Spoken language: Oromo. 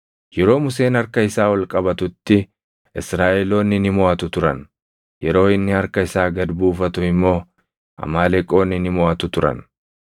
Yeroo Museen harka isaa ol qabatutti Israaʼeloonni ni moʼatu turan; yeroo inni harka isaa gad buufatu immoo Amaaleqoonni ni moʼatu turan.